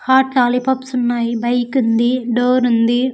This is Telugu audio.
హాట్ లాలిపాప్స్ ఉన్నాయి బైక్ ఉంది డోర్ ఉంది.